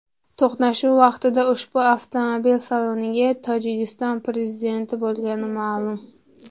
To‘qnashuv vaqtida ushbu avtomobil salonida Tojikiston prezidenti bo‘lganligi noma’lum.